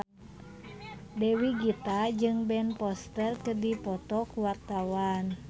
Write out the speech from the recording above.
Dewi Gita jeung Ben Foster keur dipoto ku wartawan